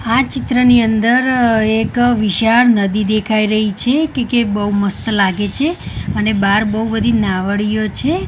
આ ચિત્રની અંદર એક વિશાળ નદી દેખાઈ રહી છે કે કે બઉ મસ્ત લાગે છે અને બાર બઉ બધી નાવડીયો છે.